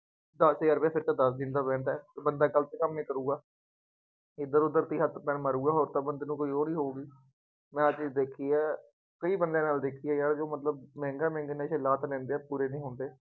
ਦਸ ਹਜ਼ਾਰ ਰੁਪਇਆ, ਫੇਰ ਤਾਂ ਦਸ ਦਿਨ ਦਾ rent ਹੈ, ਬੰਦਾ ਗਲਤ ਕੰਮ ਹੀ ਕਰੂਗਾ, ਇੱਧਰ ਉੱਧਰ ਹੀ ਹੱਥ ਪੈਰ ਮਾਰੂਗਾ, ਹੋਰ ਤਾਂ ਬੰਦੇ ਨੂੰ ਕੋਈ ਉਹ ਨਹੀਂ ਹੋਊਗੀ, ਮੈਂ ਆਹ ਚੀਜ਼ ਦੇਖੀ ਹੈ, ਕਈ ਬੰਦਿਆਂ ਨਾਲ ਦੇਖੀ ਹੈ, ਯਾਰ ਜੋ ਮਤਲਬ ਮਹਿੰਗਾ ਲਾ ਤਾਂ ਲੈਂਦੇ ਹੈ ਪੂਰੇ ਨਹੀਂ ਹੁੰਦੇ